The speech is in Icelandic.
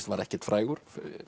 var ekkert frægur